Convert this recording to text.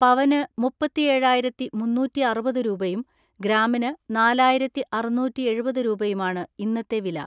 പവന് മുപ്പത്തിഏഴായിരത്തിമുന്നൂറ്റിഅറുപത് രൂപയും ഗ്രാമിന് നാലായിരത്തിഅറുന്നൂറ്റിഎഴുപത് രൂപയുമാണ് ഇന്നത്തെ വില.